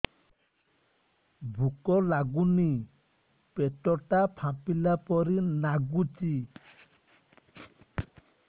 ଭୁକ ଲାଗୁନି ପେଟ ଟା ଫାମ୍ପିଲା ପରି ନାଗୁଚି